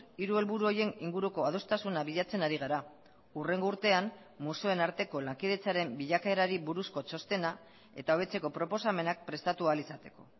hiru helburu horien inguruko adostasuna bilatzen ari gara hurrengo urtean museoen arteko lankidetzaren bilakaerari buruzko txostena eta hobetzeko proposamenak prestatu ahal izateko